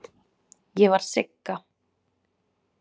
Ég var Sigga.